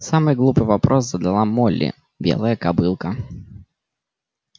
самый глупый вопрос задала молли белая кобылка